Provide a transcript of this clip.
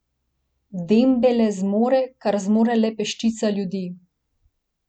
Dembele zmore, kar zmore le peščica ljudi.